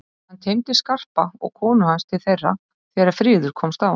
Hann teymdi Skarpa og konu hans til þeirra þegar friður komst á.